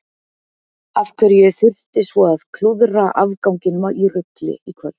Af hverju ég þurfti svo að klúðra afganginum í rugli í kvöld.